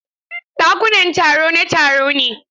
Ɗakunan taro na taro ne.